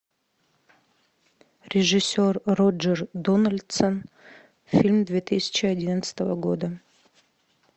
режиссер роджер дональдсон фильм две тысячи одиннадцатого года